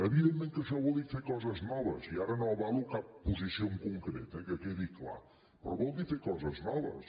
evidentment que això vol dir fer coses noves i ara no avalo cap posició en concret eh que quedi clar però vol dir fer coses noves